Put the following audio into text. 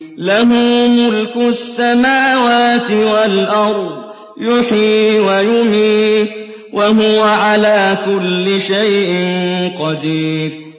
لَهُ مُلْكُ السَّمَاوَاتِ وَالْأَرْضِ ۖ يُحْيِي وَيُمِيتُ ۖ وَهُوَ عَلَىٰ كُلِّ شَيْءٍ قَدِيرٌ